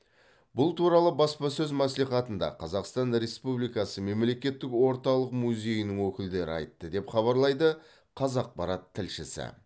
бұл туралы баспасөз мәслихатында қазақстан республикасы мемлекеттік орталық музейінің өкілдері айтты деп хабарлайды қазақпарат тілшісі